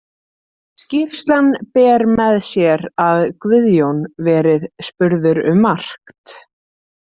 Skýrslan ber með sér að Guðjón verið spurður um margt.